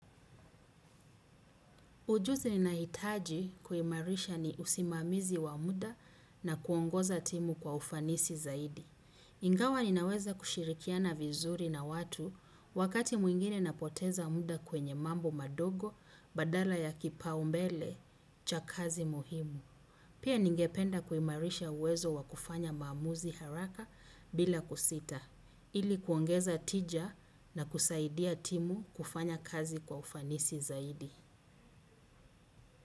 Ujuzi ni nahitaji kuhimarisha ni usimamizi wa muda na kuongoza timu kwa ufanisi zaidi. Ingawa ninaweza kushirikiana vizuri na watu wakati mwingine apoteza mda kwenye mambo madogo badala ya kipaumbele cha kazi muhimu. Pia ningependa kuhimarisha uwezo wa kufanya maamuzi haraka bila kusita ili kuongeza tija na kusaidia timu kufanya kazi kwa ufanisi zaidi.